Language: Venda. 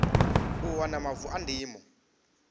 u wana mavu a ndimo